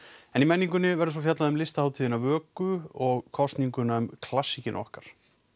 í menningunni verður fjallað um listahátíðina Vöku og kosninguna um klassíkina okkar